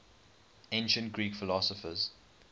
ancient greek philosophers